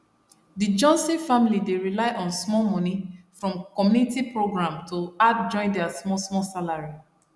the johnson family dey rely on small money from community program to add join their small small salary